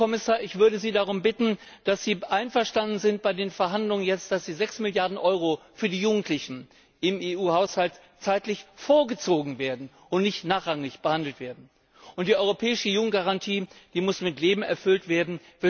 Herr Kommissar, ich würde Sie darum bitten, dass Sie bei den Verhandlungen ihre Zustimmung dazu geben, dass die sechs Milliarden Euro für die Jugendlichen im EU Haushalt zeitlich vorgezogen werden und nicht nachrangig behandelt werden. Und die europäische Jugendgarantie muss mit Leben erfüllt werden.